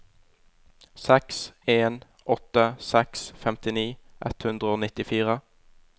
seks en åtte seks femtini ett hundre og nittifire